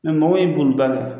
mɔgɔw ye boliba